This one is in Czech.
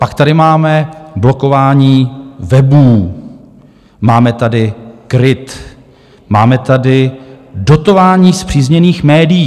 Pak tady máme blokování webů, máme tady KRIT, máme tady dotování spřízněných médií.